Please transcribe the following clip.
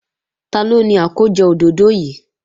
Taló ni àkójọ òdòdó yìí?